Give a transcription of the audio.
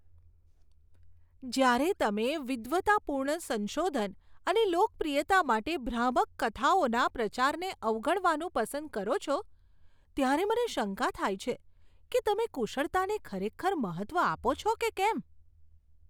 જ્યારે તમે વિદ્વતાપૂર્ણ સંશોધન અને લોકપ્રિયતા માટે ભ્રામક કથાઓના પ્રચારને અવગણવાનું પસંદ કરો છો, ત્યારે મને શંકા થાય છે કે તમે કુશળતાને ખરેખર મહત્ત્વ આપો છો કે કેમ.